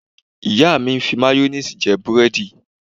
Ìyá mi ń fi máyóníìsì jẹ búrẹ́dì